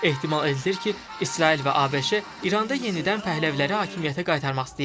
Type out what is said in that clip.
Ehtimal edilir ki, İsrail və ABŞ İranda yenidən Pəhləviləri hakimiyyətə qaytarmaq istəyir.